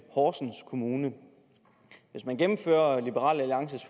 horsens kommune hvis man gennemfører liberal alliances